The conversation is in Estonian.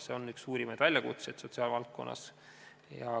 See on üks suurimaid väljakutseid sotsiaalvaldkonnas.